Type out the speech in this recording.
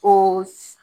O